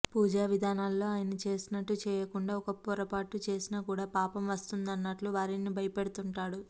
పూజా విధానాల్లో ఆయన చేసినట్టు చేయకుండా ఒక్క పొరపాటు చేసినా కూడా పాపం వస్తుందన్నట్లుగా వారిని భయపెడుతుంటాడు